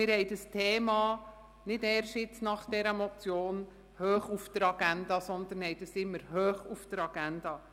Wir haben dieses Thema nicht erst seit dieser Motion hoch auf der Agenda, sondern hatten es schon immer hoch auf der Agenda.